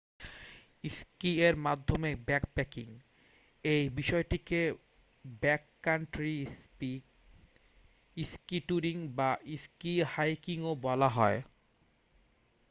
ski এর মাধ্যমে backpacking এই বিষয়টিকে ব্যাককান্ট্রি স্কি স্কি টুরিং বা স্কি হাইকিংও বলা হয়